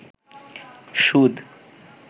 সুদ